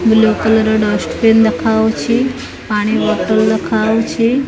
Yellow colour ର dustbin ଦେଖାଯାଉଛି ପାଣି ବୋତଲ ଦେଖାଯାଉଛି।